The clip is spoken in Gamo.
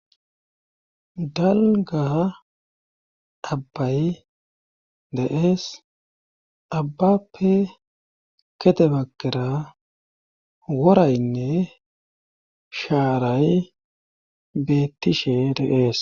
dalga abbay deees abbappe kete bakera woraynne shaaray bettishe deees